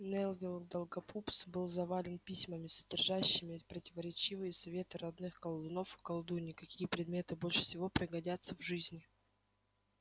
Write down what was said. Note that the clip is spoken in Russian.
невилл долгопупс был завален письмами содержащими противоречивые советы родных колдунов и колдуний какие предметы больше всего пригодятся в жизни